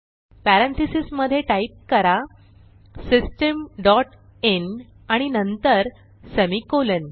parentheses मधे type करा system dot in आणि नंतर सेमिकोलॉन